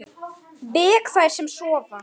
Vek þær sem sofa.